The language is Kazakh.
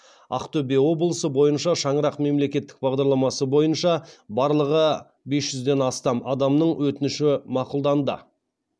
ақтөбе облысы бойынша шаңырақ мемлекеттік бағдарламасы бойынша барлығы бес жүзден астам адамның өтініші мақұлданды